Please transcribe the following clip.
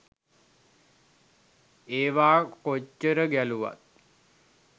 ඒවා කොච්චර ගැලුවත්